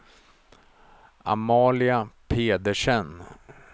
Amalia Pedersen